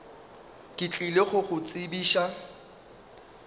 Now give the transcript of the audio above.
ke tlile go go tsebiša